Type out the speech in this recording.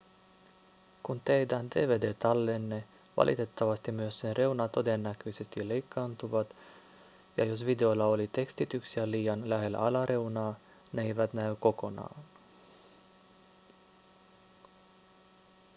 kun tehdään dvd-tallenne valitettavasti myös sen reunat todennäköisesti leikkaantuvat ja jos videolla oli tekstityksiä liian lähellä alareunaa ne eivät näy kokonaan